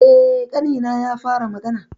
Eh, ƙanina ya fara magana.